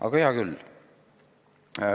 Aga hea küll.